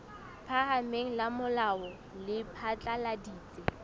phahameng la molao le phatlaladitse